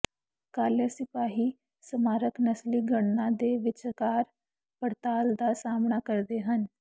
ਕਾਲੇ ਸਿਪਾਹੀ ਸਮਾਰਕ ਨਸਲੀ ਗਣਨਾ ਦੇ ਵਿਚਕਾਰ ਪੜਤਾਲ ਦਾ ਸਾਹਮਣਾ ਕਰਦੇ ਹਨ